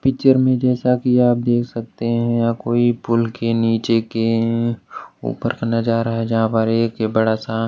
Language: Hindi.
पिक्चर में जैसा कि आप देख सकते हैं यहां कोई पुल के नीचे के ऊपर का नजारा है जहां पर एक बड़ा सा--